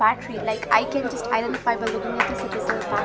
factory like I can just identify by looking at this it is a fac --